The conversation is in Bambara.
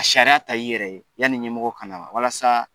A sariya ta i yɛrɛ ye yanni ɲɛmɔgɔ ka na wa walasa